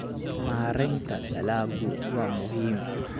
Maareynta dalaggu waa muhiim.